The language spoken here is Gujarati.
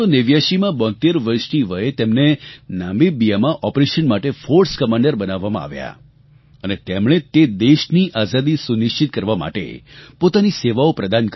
1989માં 72 વર્ષની વયે તેમને નામિબિયામાં ઓપરેશન માટે ફોર્સ કમાન્ડર બનાવવામાં આવ્યા અને તેમણે તે દેશની આઝાદી સુનિશ્ચિત કરવા માટે પોતાની સેવાઓ પ્રદાન કરી